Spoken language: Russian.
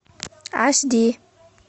аш ди